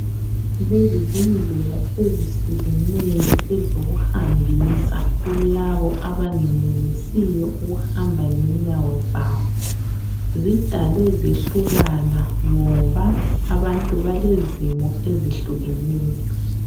Lezi zindlela ezihlukeneyo ezokuhambisa kulabo abangenelisiyo ukuhamba ngenyawo zabo. Zidalwe zehlukana ngoba abantu balezimo ezihlukeneyo.